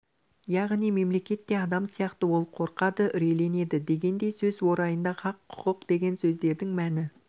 яғни мемлекет те адам сияқты ол қорқады үрейленеді дегендей сөз орайында хақ құқық деген сөздердің мәні